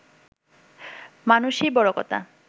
মানুষই বড় কথা